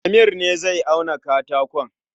Amir ne zai auna katakon